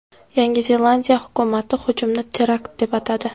Yangi Zelandiya hukumati hujumni terakt deb atadi.